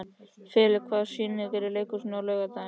Filip, hvaða sýningar eru í leikhúsinu á laugardaginn?